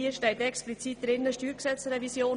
Hier steht explizit geschrieben: Steuergesetzrevision.